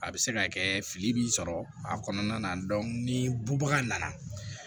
A bɛ se ka kɛ fili b'i sɔrɔ a kɔnɔna na ni bubaga nana